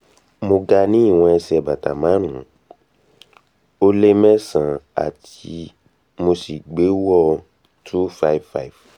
mo ga ní ìwọ̀n ẹsẹ̀ bàtà márùn-ún ó lé mésàn án tí mo sì gbéwò 255